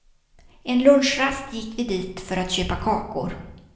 En lunchrast gick vi dit för att köpa kakor.